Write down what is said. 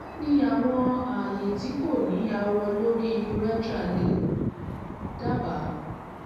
kini awọn aaye ti ko ni awọ lori urethra le daba?